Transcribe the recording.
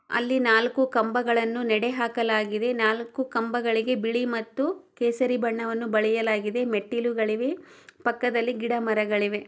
ಅಲ್ಲಿ ನಾಲ್ಕುಕಂಬಗಳನ್ನುನೆಡೆ ಹಾಕಲಾಗಿದೆ ನಾಲ್ಕು ಕಂಬಗಳಿಗೆ ಬಿಳಿ ಮತ್ತು ಅದು ಕೇಸರಿ ಬಣ್ಣವನ್ನು ಬಳಿಯಲಾಗಿದೆ ಇಲ್ಲಿ ಪಕ್ಕದಲ್ಲಿ ಗಿಡ ಮರಗಳಿವೆ.